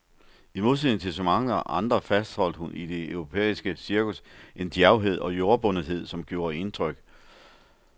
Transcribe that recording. I modsætning til så mange andre fastholdt hun i det europæiske cirkus en djærvhed og jordbundethed, som gjorde indtryk.